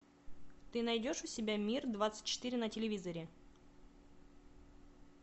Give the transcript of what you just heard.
ты найдешь у себя мир двадцать четыре на телевизоре